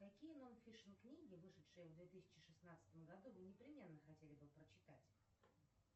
какие нон фикшн книги вышедшие в две тысячи шестнадцатом году вы непременно хотели бы прочитать